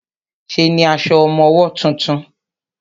Ṣe ní aṣọ ọmọwọ́ tuntun?